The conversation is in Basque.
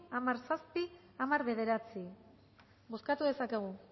hamar puntu zazpi hamar puntu bederatzi bozkatu dezakegu